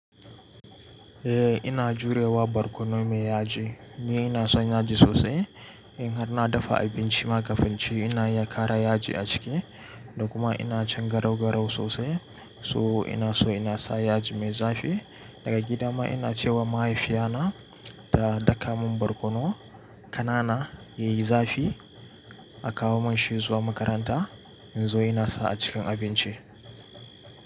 Eh ina jurewa barkono mai yaji. Ni ina son yaji sosai. In har na dafa abinci ma kafi inci ina iya kara yaji a ciki da kuma ina cin garau-garau sosai. So ina so ina sa yaji mai zafi. Daga gida ma ina ce wa mahaifiya na, ta dakamun barƙono, kanana mai zafi, a kawo mun shi zuwa makaranta in zo ina sa a cikin abinci.